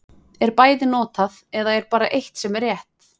Er bæði notað, eða er bara eitt sem er rétt.